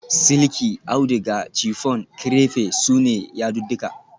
Silki, auduga, chiffon, crepe su ne yadudduka